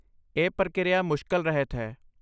ਇਹ ਪ੍ਰਕਿਰਿਆ ਮੁਸ਼ਕਲ ਰਹਿਤ ਹੈ।